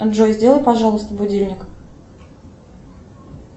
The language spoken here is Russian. джой сделай пожалуйста будильник